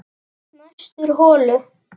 Næstur holu